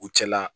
U cɛla